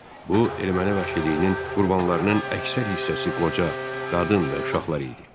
Bu erməni vəhşiliyinin qurbanlarının əksər hissəsi qoca, qadın və uşaqlar idi.